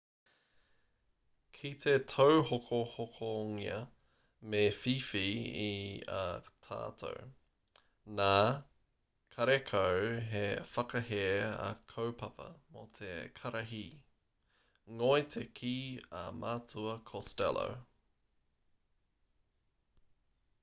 kite tauhokohokongia me whiwhi i a tātou nā karekau he whakahē a kaupapa mo te karihi ngoi te kī a matua costello